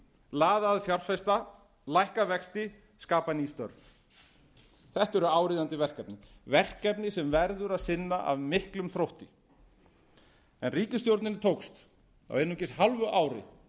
laða að fjárfesta lækka vexti skapa ný störf þetta eru áríðandi verkefni verkefni sem verður að sinna af miklum þrótti ríkisstjórninni tókst á einungis hálfu ári